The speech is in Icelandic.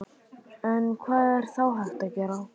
En hvað er þá hægt að gera?